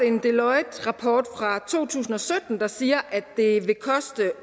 en deloitterapport fra to tusind og sytten der siger at det vil koste